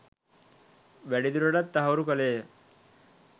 වැඩිදුරටත් තහවුරු කළේය